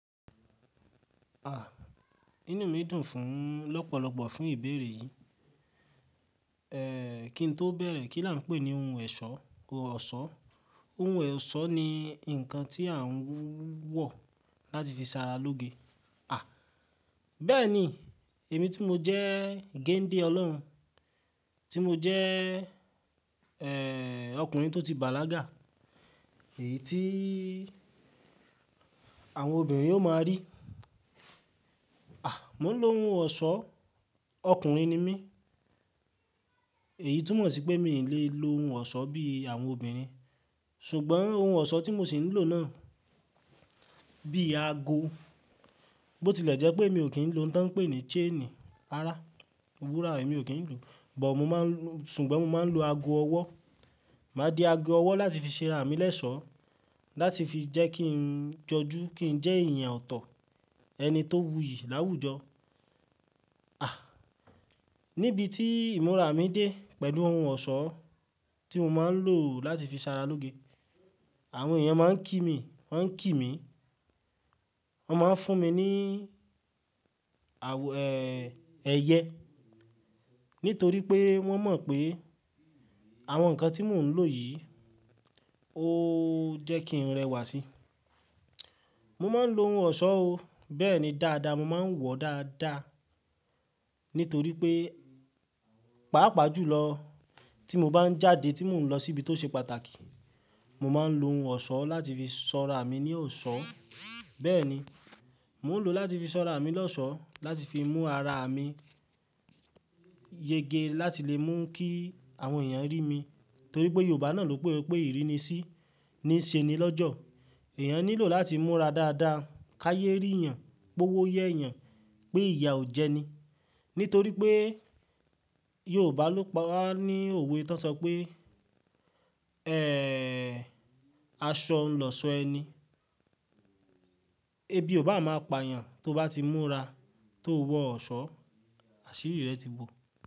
Ah! Inú mi dùn fún lọ́pọ̀lọ́pọ̀ fún ìbéèrè yìí. Eeh, kí n tó bẹ̀rẹ̀ kí là ń pè ní ohun ẹ̀ṣọ́, ọ̀ṣọ́. Ohun ẹ̀ṣọ́ ni nǹkan tí à ń wọ̀ láti fi ṣara lóge. Ah! Bẹ́ẹ̀ni, èmi tí mo jẹ́ géǹdé Ọlọ́run, tí mo jẹ́, eeh, ọkùnrin tó ti bàlágà, èyí tí àwọn obìnrin ó máa rí. Ah! Mò ń lo ohun ọ̀ṣọ́, ọkùnrin ni mí. Èyí túmọ̀ sí pé mi ò lè lo ohun ọ̀ṣọ́ bí àwọn obìnrin. Ṣùgbọ́n ohun ọ̀ṣọ́ tí mo sì ń lò náà bí aago, bó ti lẹ̀ jẹ́ pé mi ò kìn lò ohun tó ń pè ní chain rara wúrà emí ò kì n lò, bọ̀ mo máa ń lo-- ṣùgbọ́n mo máa ń lo ago ọwọ́. Máa di ago ọwọ́ láti fi ṣera àmì lẹ́sọ́, láti fi jẹ́ kí n jọjú, kí n jẹ́ èèyàn ọ̀tọ̀, ẹni tó wuyì láwùjọ. Ah! Níbi tí ìmúra mi dé pẹ̀lú ohun ọ̀ṣọ́ tí mo máa ń lò láti fi ṣara lóge, àwọn èèyàn máa ń kí mi, wọ́n ń kí mi. Wọ́n máa ń fún mi ní, awọ-- eeh, ẹyẹ. Nítorí pé wọ́n mọ̀ pé àwọn nǹkan tí mò ń lò yìí ó jẹ́ kí n rẹwà síi. Mo máa ń lo ohun ọ̀ṣọ́ o. Bẹ́ẹ̀ni dáadáa, mo máa ń wọ dáadáa. Nítorí pé, pàápàá jùlọ tí mo bá ń jáde, tí mò ń lọ síbi tó ṣe pàtàkì, mo máa ń lo ohun ọ̀ṣọ́ láti fi sọ́ra mi ní ọ̀ṣọ́. Bẹ́ẹ̀ni, mò ń lò ó láti fi sọ́ra mi lọ́ṣọ̀ọ́, láti fi mú ara mi yege, láti lè mú kí àwọn èèyàn rí mi. Nítorí pé Yorùbá náà ló pe pé ìrínisí ni ṣe ni lọ́jọ̀ọ́. Ẹ̀yàn nílò láti múra dáadáa ká yé rí èèyàn, kó wó yé èèyàn pé ìyà ò jẹni. Nítorí pé Yorùbá ló pa á ní òwe tó sọ pé, eeh, aṣọ ń lọ ṣọ ẹni. Ẹ bí o bá máa pa èèyàn, tó bá ti múra, tó wọ ọ̀ṣọ́, àṣírí rẹ̀ ti bó.